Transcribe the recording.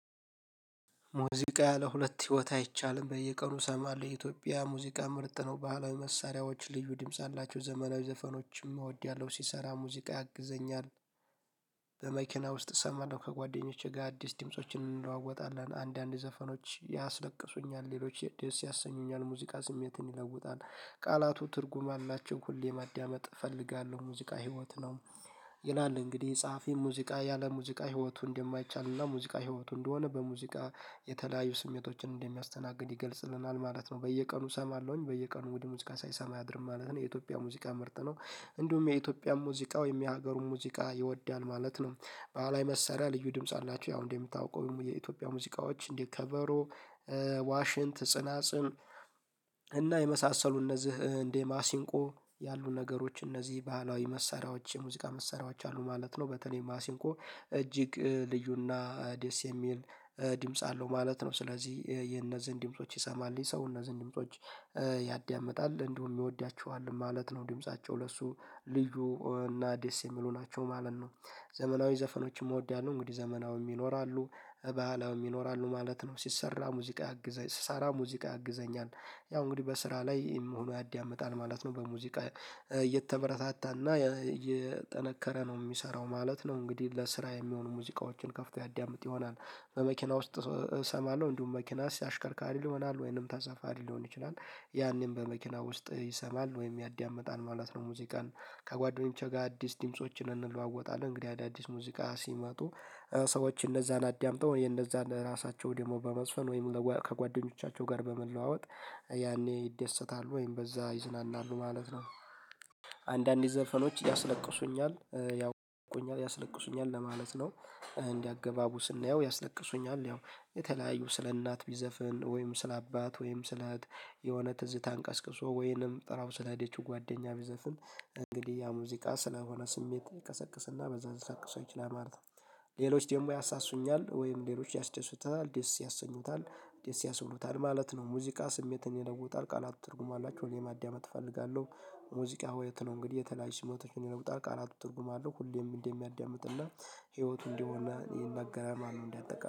ሙዚቃ ያለ ሁለት ህይወት አይቻልም። በየቀኑ እሰማለሁ የኢትዮጵያ ሙዚቃ ምርጥ ነው። ባህላዊ መሳሪያዎች ልዩ ድምጽ አላቸው። ዘመናዊ ዘፈኖችም እወዳለሁ ሲሰራ ሙዚቃ ያግዘኛል። በመኪና ውስጥ እሰማለሁ ከጓደኞቼ ጋር አዲስ ድምፆችን እንለዋወጣለን አንዳንድ ዘፈኖች ያስለቅሱኛል ሌሎች የደስ ያሰኙኛል ሙዚቃ ስሜትን ይለውጣል። ቃላቱ ትርጉም አላቸው ሁሌ ማዳመጥ እፈልጋለሁ ሙዚቃ ህይወት ነው። ይላል እንግዲህ ጸሐፊ ሙዚቃ ያለ ሙዚቃ ህይወቱ እንደማይቻልና ሙዚቃ ህይወቱ እንደሆነ በሙዚቃ የተለያዩ ስሜቶችን እንደሚያስተናግድ ይገልጽልናል ማለት ነው። በየቀኑ እሰማለሁኝ በየቀኑ ውድ ሙዚቃ ሳይሰማ ያድርም ማለት ነው። የኢትዮጵያ ሙዚቃ ምርጥ ነው። እንዲሁም የኢትዮጵያ ሙዚቃ ወይም የሀገሩን ሙዚቃ ይወዳል ማለት ነው። ባህላዊ መሳሪያ ልዩ ድምጽ አላቸው ያው እንደምታውቀው የኢትዮጵያ ሙዚቃዎች እንዴት ከበሮ? ዋሽን ትጽናጽን እና የመሳሰሉ እነዚህ እንዴ ማሲንቆ ያሉ ነገሮች እነዚህ ባህላዊ መሳሪያዎች የሙዚቃ መሳሪያዎች አሉ ማለት ነው። በተለይ ማሲንቆ ማሲንኮ እጅግ ልዩና ዴስ የሚል ድምጽ አለው ማለት ነው። ስለዚህ የእነዚህን ድምጾች ይሰማል የሰው እነዚህን ድምጾች ያዳምጣል እንደውም ይወዳቸዋል ማለት ነው። ድምጻቸው ለሱ ልዩ እና ደስ የሚሉ ናቸው ማለት ነው። ዘመናዊ ዘፈኖችም እወዳለሁ እንግዲህ ዘመናዊ ይኖራሉ ባህላዊ ይኖራሉ ማለት ነው። ሲሰራ ሙዚቃ ያግዘኛል ስሰራ ሙዚቃ ያግዘኛል። ያው እንግዲህ በስራ ላይ መሆኑ ያዳምጣል ማለት ነው። በሙዚቃ እየተበረታታና የጠነከረ ነው የሚሰራው ማለት ነው። እንግዲህ ለስራ የሚሆኑ ሙዚቃዎችን ከፍቶ ያዳምጥ ይሆናል። በመኪና ውስጥ እሰማለሁ እንዲሁም መኪና ሲአሽከርክር ይሆናል ወይንም ተጻፋሪ ሊሆን ይችላል ያኔን በመኪና ውስጥ ይሰማል ወይም ያዳምጣል ማለት ነው። ሙዚቃን ከጓደኞቼ ጋር አዲስ ድምፆችን እንለዋወጣለን እንግዲህ አዳዲስ ሙዚቃ ሲመጡ ሰዎች እንደዛ አዳምጠው እኔ እንደዛ ራሳቸው ደግሞ በመጽሐፍ ወይም ከጓደኞቻቸው ጋር በመለዋወጥ ያኔ ይደሰታሉ ወይም በዛ ይዝናናሉ ማለት ነው። ዘፈኖች ያስለቅሱኛል። ያው ያስለቅሱኛል ለማለት ነው። እንዲህ አገባቡ ስናየው ያስለቅሱኛል ያው የተለያዩ ስለ እናት ቢዘፍን ወይም ስለ አባት ወይም ስለ እህት የሆነ ትዝታ ቀስቅሶ ወይንም ጥላው ሰላደች ጓደኛ ቢዘፍን እንግዲህ ያ ሙዚቃ ስለሆነ ስሜት ቀሰቅስና በዛ ያስለቅሰው ይችላል ማለት ነው። ሌሎች ደግሞ ያሳሱኛል ወይም ሌሎች ያስደሱታል ደስ ያሰኙታል ደስ ያስብሉታል ማለት ነው። ሙዚቃ ስሜትን ይለውጣል። ቃላቱ ትርጉም አላቸው እኔ ማደመጥ እፈልጋለሁ። ሙዚቃ ሆይ የተለው እንግዲህ የተለያየ ስሜቶችን ይነግሩታል ቃላቱ ትርጉም አለው ሁሌም እንደሚያዳምጥና ህይወቱ እንደሆነ ይነገራል ማነው እንዲያጠቃም